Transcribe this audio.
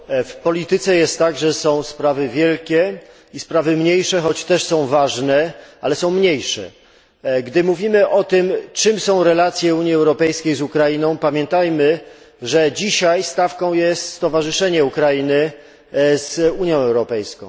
W polityce jest tak, że są sprawy wielkie i sprawy mniejsze choć też są ważne, ale są mniejsze. Gdy mówimy o tym, czym są relacje Unii Europejskiej z Ukrainą, pamiętajmy, że dzisiaj stawką jest stowarzyszenie Ukrainy z Unią Europejską.